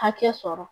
Hakɛ sɔrɔ